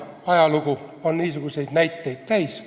Ajalugu on niisuguseid näiteid täis.